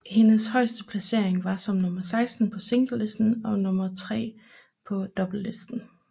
Hendes højeste placering var som nummer 16 på singlelisten og nummer 3 på doublelisten